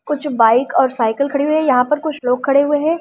कुछ बाइक और साइकिल खड़ी हुई है यहां पर कुछ लोग खड़े हुए है।